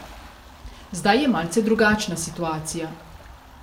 Zdaj je malce drugačna situacija.